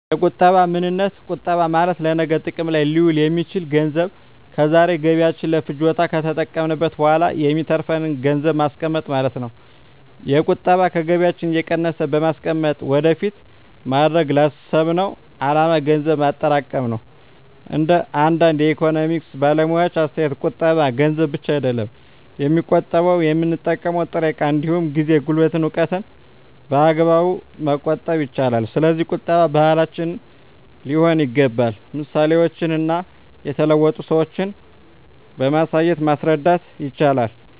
የቁጠባ ምንነት ቁጠባ ማለት ለነገ ጥቅም ላይ ሊውል የሚችል ገንዘብ ከዛሬ ገቢያችን ለፍጆታ ከተጠቀምንት በኋላ የሚተርፍን ገንዘብን ማስቀመጥ ማለት ነው። የቁጠባ ከገቢያችን እየቀነስን በማስቀመጥ ወደፊት ማድረግ ላሰብነው አላማ ገንዘብ ማጠራቀም ነው። እንደ አንዳንድ የኢኮኖሚክስ ባለሙያዎች አስተያየት ቁጠባ ገንዘብ ብቻ አይደለም የሚቆጠበው የምንጠቀመው ጥሬ እቃ እንዲሁም ጊዜ፣ ጉልበትን፣ እውቀትን በአግባቡ መቆጠብ ይቻላል። ስለዚህ ቁጠባ ባህላችን ሊሆን ይገባል ምሳሌዎችን እና የተለወጡ ሰዎችን በማሳየት ማስረዳት ይቻላል